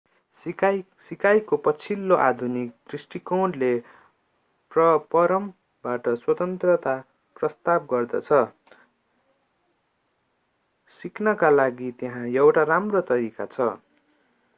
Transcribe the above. सिकाइको पछिल्लो आधुनिक दृष्टिकोणले परमबाट स्वतन्त्रता प्रस्ताव गर्दछ सिक्नका लागि त्यहाँ एउटा राम्रो तरिका छ